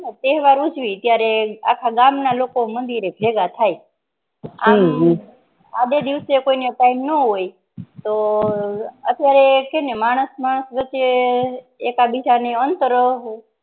તહેવાર ઉજવી તિયારે આખા ગામ ના લોગો મંદિર રે ભેગાં થાય આમ આડે દિવસે કોઇને time નો હોય તોહ અત્યારે હેને માણસ માણસ વચ્ચે એક આદ બીજા અંતર હો